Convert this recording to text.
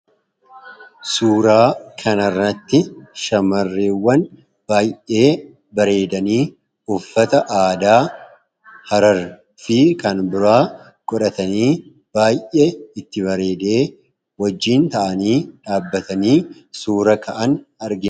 suuraa kanarratti shamarreewwan baay'ee bareedanii uffata aadaa hararii fi kan biraa godhatanii baay'ee itti bareedee wajjiin ta'anii dhaabbatanii suura ka'an argina